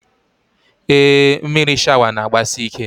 Ee, mmiri shawa n'agbasi ike